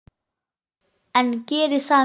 En geri það nú.